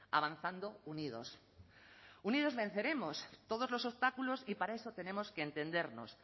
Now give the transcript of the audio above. avanzando unidos unidos venceremos todos los obstáculos y para eso tenemos que entendernos